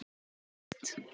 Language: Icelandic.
Þetta er vel hægt.